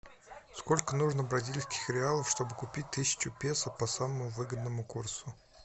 сколько нужно бразильских реалов чтобы купить тысячу песо по самому выгодному курсу